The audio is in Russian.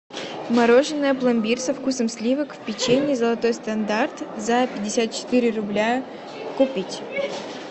мороженое пломбир со вкусом сливок в печенье золотой стандарт за пятьдесят четыре рубля купить